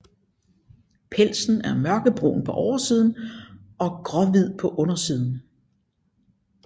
Pelsen er mørkebrun på oversiden og gråhvid på undersiden